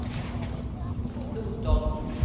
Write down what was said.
Notodden